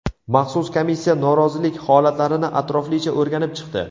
Maxsus komissiya norozilik holatlarini atroflicha o‘rganib chiqdi.